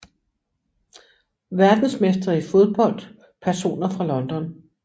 Verdensmestre i fodbold Personer fra London